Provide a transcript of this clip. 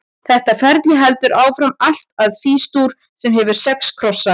Þetta ferli heldur áfram allt að Fís-dúr, sem hefur sex krossa.